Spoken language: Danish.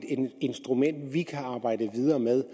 instrument som vi kan arbejde videre med